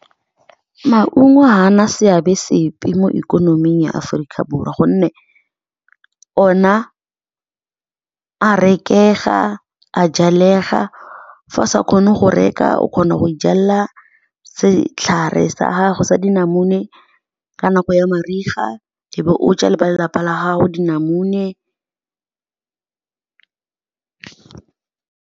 Maungo ga ana seabe sepe mo ikonoming ya Aforika Borwa gonne ona a rekega, a jalega. Fa a sa kgone go reka, o kgona go ijalela setlhare sa gago sa dinamune ka nako ya mariga, e be o ja le ba lelapa la gago dinamune.